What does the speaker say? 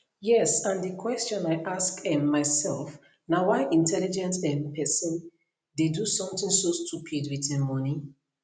yes and di question i ask um myself na why intelligent um person dey do something so stupid wit im money